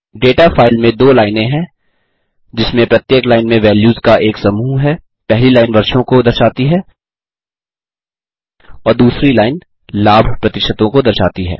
data file में दो लाइनें हैं जिसमें प्रत्येक लाइन में वैल्यूज़ का एक समूह है पहली लाइन वर्षों को दर्शाती है और दूसरी लाइन लाभ प्रतिशतों को दर्शाती है